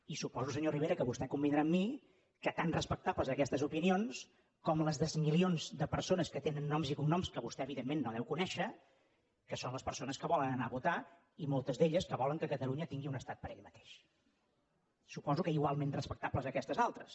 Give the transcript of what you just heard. i suposo senyor rivera que vostè convindrà amb mi que tan respectables són aquestes opinions com les dels milions de persones que tenen noms i cognoms que vostè evidentment no deu conèixer que són les persones que volen anar a votar i moltes d’elles que volen que catalunya tingui un estat per ella mateix suposo que igualment respectables aquestes altres